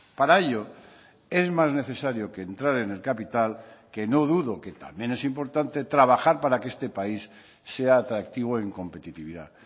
para ello es más necesario que entrar en el capital que no dudo que también es importante trabajar para que este país sea atractivo en competitividad